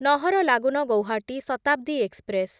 Naharlagun Guwahati Shatabdi express